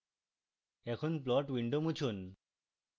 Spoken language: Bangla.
এখন plot window মুছুন